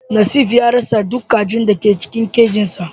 Nesif ya rasa duk kajin da ke cikin kajinsa